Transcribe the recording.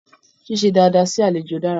Ṣíṣe dada sí àlejò dára.